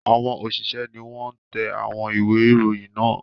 Àwọn òṣìṣẹ́ ni wọ́n ń tẹ àwọn ìwé-ìròyìn náà.